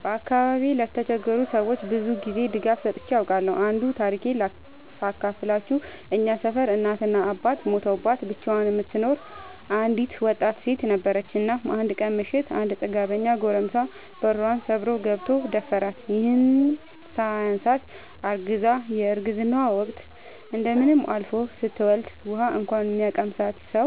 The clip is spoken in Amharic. በአካባቢዬ ለተቸገሩ ሰዎች ብዙ ጊዜ ድጋፍ ሰጥቼ አውቃለሁ። አንዱን ታሪኬን ሳካፍላችሁ እኛ ሰፈር እናት እና አባቷ ሞተውባት ብቻዋን የምትኖር አንድ ወጣት ሴት ነበረች። እናም አንድ ቀን ምሽት አንድ ጥጋበኛ ጎረምሳ በሯን ሰብሮ ገብቶ ደፈራት። ይህም ሳያንሳት አርግዛ የረግዝናዋ ወቅት እንደምንም አልፎ ስትወልድ ውሀ እንኳን የሚያቀምሳት ሰው